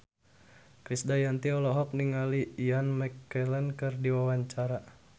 Krisdayanti olohok ningali Ian McKellen keur diwawancara